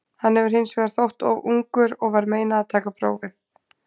Hann hefur hins vegar þótt of ungur og var meinað að taka prófið.